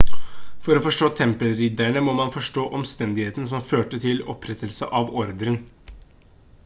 for å forstå tempelridderne må man forstå omstendigheten som førte til opprettelsen av ordren